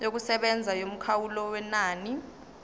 yokusebenza yomkhawulo wenani